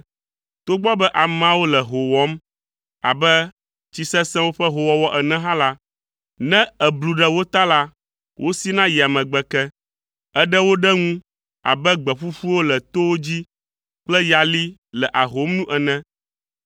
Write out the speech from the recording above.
Togbɔ be ameawo le hoo wɔm abe tsi sesẽwo ƒe hoowɔwɔ ene hã la, ne èblu ɖe wo ta la, wosina yia megbe ke. Èɖe wo ɖe ŋu abe gbe ƒuƒuwo le towo dzi kple yali le ahom nu ene.